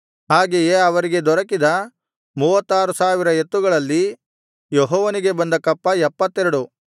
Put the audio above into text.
ಹಾಗೆಯೇ ಅವರಿಗೆ ದೊರಕಿದ 36000 ಎತ್ತುಗಳಲ್ಲಿ ಯೆಹೋವನಿಗೆ ಬಂದ ಕಪ್ಪ 72